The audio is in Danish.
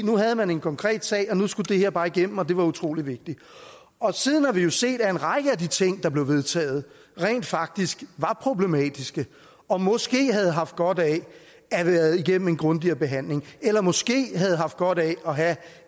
nu havde man en konkret sag og nu skulle det her bare igennem og det var utrolig vigtigt siden har vi jo set at en række af de ting der blev vedtaget rent faktisk var problematiske og måske havde haft godt af at have været igennem en grundigere behandling eller måske havde haft godt af at have